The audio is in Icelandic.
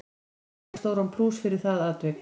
Gunnar fær stóran plús fyrir það atvik.